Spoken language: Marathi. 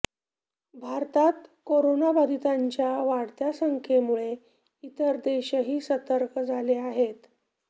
भारतात करोनाबाधितांच्या वाढत्या संख्येमुळे इतर देशही सतर्क झाले आहेत